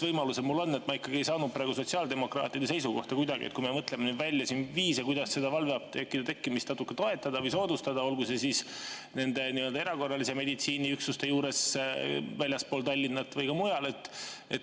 Ma ikkagi ei saanud praegu kuidagi sotsiaaldemokraatide seisukohta selles suhtes, kui me mõtleme välja viise, kuidas valveapteekide tekkimist natuke toetada või soodustada, olgu siis nende erakorralise meditsiini üksuste juures väljaspool Tallinna või mujal.